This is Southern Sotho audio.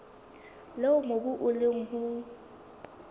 leo mobu o leng ho